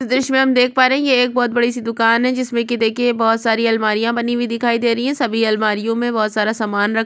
दृश्य मे हम देख पा रहै है ये एक बहोत बड़ी सी दुकान है जिसमे की देखिये बहोत सारी अलमारिया बनी हुई दिखाई दे रही है सभी अलमारियो मे बहोत सारा सामान रक--